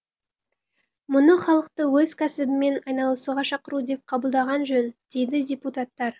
мұны халықты өз кәсібімен айналысуға шақыру деп қабылдаған жөн дейді депутаттар